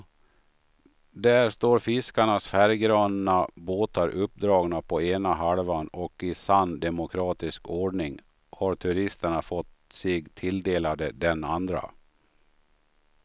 Där står fiskarnas färggranna båtar uppdragna på ena halvan och i sann demokratisk ordning har turisterna fått sig tilldelade den andra.